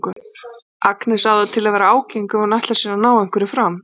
Agnes á til að vera ágeng ef hún ætlar sér að ná einhverju fram.